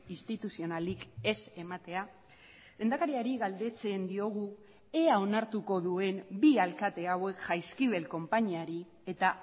instituzionalik ez ematea lehendakariari galdetzen diogu ea onartuko duen bi alkate hauek jaizkibel konpainiari eta